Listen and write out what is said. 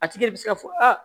A tigi bɛ se ka fɔ aa